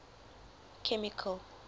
chemical